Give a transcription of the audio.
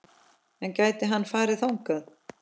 En gæti hann farið þangað?